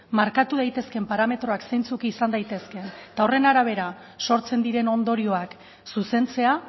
markatu daitezkeen parametroak zeintzuk izan daitezkeen eta horren arabera sortzen diren ondorioak zuzentzea